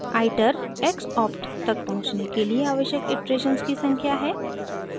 iter :xopt तक पहुँचने के लिए आवश्यक इटरेशन्स की संख्या है